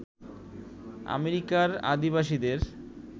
আমেরিকার আদিবাসীদের